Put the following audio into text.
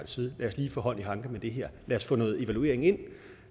side lad os lige få hånd i hanke med det her lad os få noget evaluering ind